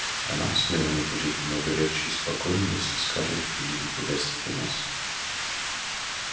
а нам с мелани будет много легче и спокойней если скарлетт приедет погостить у нас